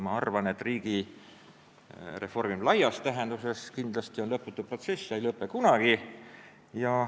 Ma arvan, et riigi reformimine laias tähenduses on kindlasti lõputu protsess ega lõpe kunagi.